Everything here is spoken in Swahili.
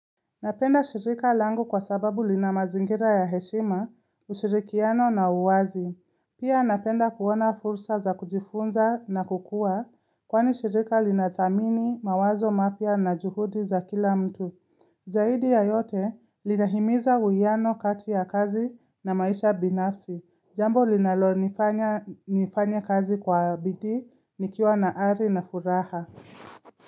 Napenda shirika langu kwa sababu linamazingira ya heshima, ushirikiano na uwazi. Pia napenda kuona fursa za kujifunza na kukua kwani shirika linathamini mawazo mapya na juhudi za kila mtu. Zaidi ya yote linahimiza uwiano kati ya kazi na maisha binafsi. Jambo linalonifanya nifanye kazi kwa bidii nikiwa na ari na furaha.